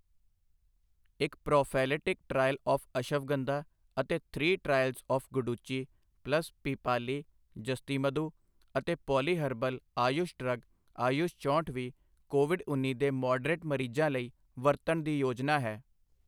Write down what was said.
ਇੱਕ prophylactic trial of ashwagandha ਅਤੇ three trials of guduchi plus pippali l yashtimadhu l ਅਤੇ ਪੋਲੀਹਰਬਲ ਆਯੁਸ਼ ਡਰੱਗ ਆਯੁਸ਼ ਚੋਂਹਠ ਵੀ ਕੋਵਿਡ ਉੱਨੀ ਦੇ ਮੌਡਰੇਟ ਮਰੀਜ਼ਾਂ ਲਈ ਵਰਤਣ ਦੀ ਯੋਜਨਾ ਹੈ।